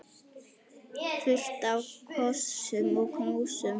Fullt af kossum og knúsum.